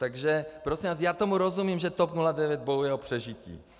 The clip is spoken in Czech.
Takže prosím vás, já tomu rozumím, že TOP 09 bojuje o přežití.